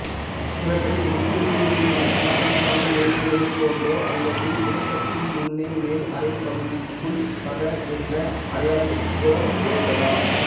இவற்றை முற்குறி எதுவுமின்றி சாதாரணமாக எழுதுவதைப்போன்றோ அல்லது இலக்கத்தின் முன்னே மேல் அரைப்பகுதிக்குள் சக என்று அடையாளமிட்டோ எழுதலாம்